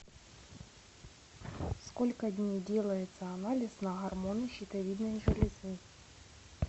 сколько дней делается анализ на гормоны щитовидной железы